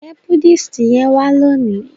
nje Buddhist yén wa loni?